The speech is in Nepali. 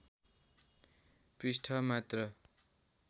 पृष्ठ मात्र